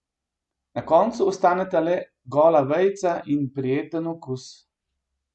Na koncu ostaneta le gola veja in prijeten okus.